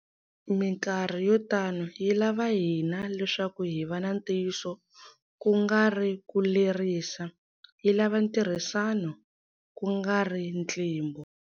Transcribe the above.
Mikarhi yo tano yi lava hina leswaku hi va na ntiyiso, ku nga ri ku lerisa. Yi lava ntirhisano, ku nga ri ntlimbo.